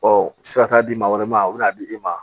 sira t'a di maa wɛrɛ ma o be na di e ma